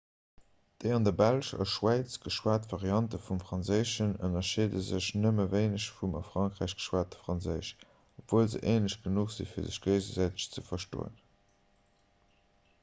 déi an der belsch a schwäiz geschwat variante vum franséischen ënnerscheede sech nëmme wéineg vum a frankräich geschwate franséisch obwuel se änlech genuch sinn fir sech géigesäiteg ze verstoen